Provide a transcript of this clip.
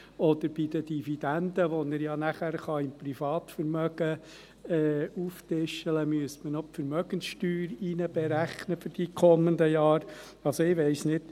Oder bei der Dividende, welche er beim Privatvermögen auftischen kann, müsste man für die kommenden Jahre noch die Vermögenssteuer einrechnen.